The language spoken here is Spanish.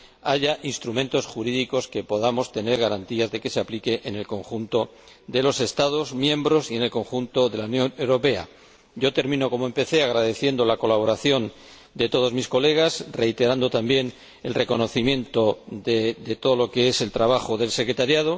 haya instrumentos jurídicos que podamos tener garantía de que se apliquen en el conjunto de los Estados miembros y en el conjunto de la Unión Europea. Termino como empecé, agradeciendo la colaboración de todos mis colegas y reiterando también el reconocimiento de todo el trabajo de la secretaría.